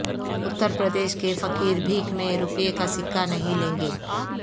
اتر پردیش کے فقیربھیک میں روپے کا سکہ نہیں لیں گے